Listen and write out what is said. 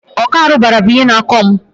ọkọ arụbara bụ ihe na-akọ mụ.